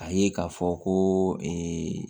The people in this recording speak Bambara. A ye k'a fɔ ko